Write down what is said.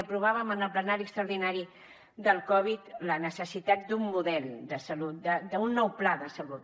aprovàvem en el ple extraordinari del covid la necessitat d’un model de salut d’un nou pla de salut